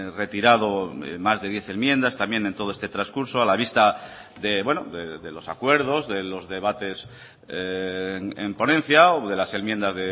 retirado más de diez enmiendas también en todo este transcurso a la vista de los acuerdos de los debates en ponencia o de las enmiendas